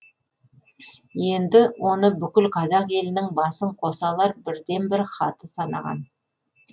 енді оны бүкіл қазақ елінің басын қоса алар бірден бір хаты санаған